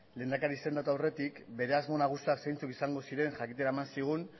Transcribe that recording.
lehendakari izendatu aurretik bere asmo nagusiak zeintzuk izango ziren jakitera eman zigun